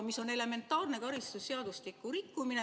See on elementaarne karistusseadustiku rikkumine.